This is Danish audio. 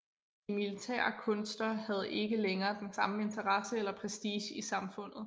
De militære kunster havde ikke længere den samme interesse eller prestige i samfundet